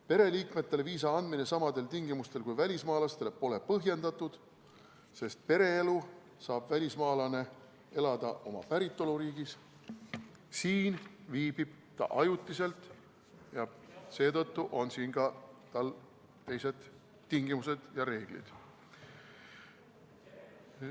Pereliikmetele viisa andmine samadel tingimustel kui välismaalastele pole põhjendatud, sest pereelu saab välismaalane elada oma päritoluriigis, siin viibib ta ajutiselt ja seetõttu on tal siin ka teised tingimused ja reeglid.